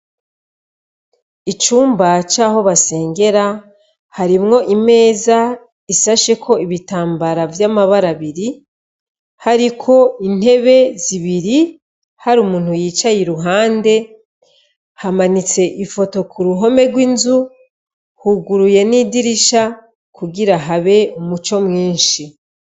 Icumbacoaho basengera harimwo imeza isasheko ibitambara vy'amabara biri hariko intebe zibiri hari umuntu yicaye i ruhande hamanitse ifoto ku ruhome rw'inzu huguruye n'idirisha kugira habe umuco mwinshi.